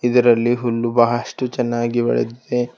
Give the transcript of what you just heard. ಇದರಲ್ಲಿ ಹುಲ್ಲು ಬಹಳಷ್ಟು ಚೆನ್ನಾಗಿ ಬೆಳೆದಿದೆ.